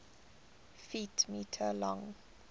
ft m long